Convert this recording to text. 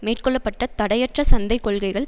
மேற்கொள்ள பட்ட தடையற்ற சந்தை கொள்கைகள்